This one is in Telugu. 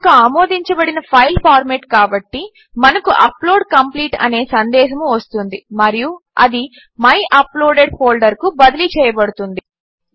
అది ఒక ఆమోదించబడిన ఫైల్ ఫార్మాట్ కాబట్టి మనకు అప్లోడ్ కంప్లీట్ అనే సందేశము వస్తుంది మరియు అది మై అప్లోడెడ్ ఫోల్డర్ కు బదిలీ చేయబడుతుంది